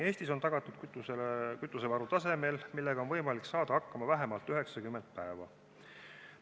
Eestis on tagatud kütusevaru tasemel, millega on võimalik saada hakkama vähemalt 90 päeva.